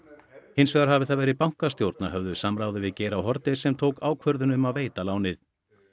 hins vegar hafi það verið bankastjórn að höfðu samráði við Geir h Haarde sem tók ákvörðun um að veita lánið